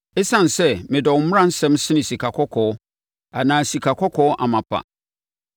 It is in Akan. Esiane sɛ medɔ wo mmaransɛm sene sikakɔkɔɔ, anaa sikakɔkɔɔ amapa,